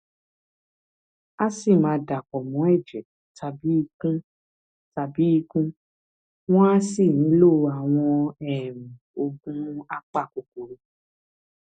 a sì máa dàpọ mọ ẹjẹ tàbí ikun tàbí ikun wọn á sì nílò àwọn um oògùn apakòkòrò